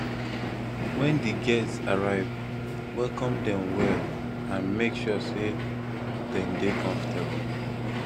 when di guests arrive welcome dem well and make sure sey dem dey comfortable